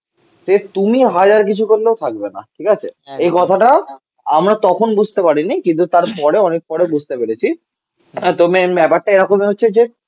সে তুমি হাজার কিছু করলেও থাকবে না. ঠিক আছে? এই কথাটা. আমরা তখন বুঝতে পারিনি. কিন্তু তার পরে অনেক পরে বুঝতে পেরেছি তো মেন ব্যাপারটা এরকমই হচ্ছে যে